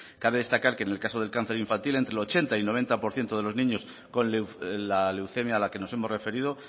cabe destacar que en el caso del cáncer infantil entre el ochenta y el noventa por ciento de los niños con la leucemia a la que nos hemos referido